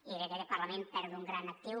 crec que aquest parlament perd un gran actiu